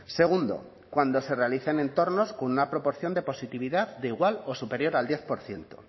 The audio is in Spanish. segundo cuando se realice en entornos con una proporción de positividad de igual o superior al diez por ciento